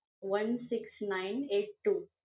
One six nine eight two.